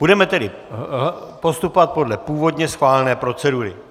Budeme tedy postupovat podle původně schválené procedury.